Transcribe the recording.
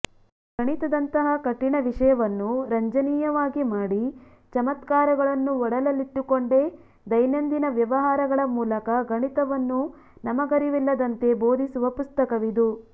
ಗಣಿತದಂತಹ ಕಠಿಣ ವಿಷಯವನ್ನು ರಂಜನೀಯವಾಗಿ ಮಾಡಿ ಚಮತ್ಕಾರಗಳನ್ನು ಒಡಲಲ್ಲಿಟ್ಟುಕೊಂಡೇ ದೈನಂದಿನ ವ್ಯವಹಾರಗಳ ಮೂಲಕ ಗಣಿತವನ್ನು ನಮಗರಿವಿಲ್ಲದಂತೆ ಬೋಧಿಸುವ ಪುಸ್ತಕವಿದು